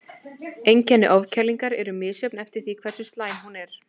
Einkenni ofkælingar eru misjöfn eftir því hversu slæm hún er.